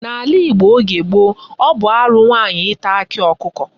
N'ala Igbo oge gboo, ọ bụ arụ nwaanyị ịta akị ọkụkọ.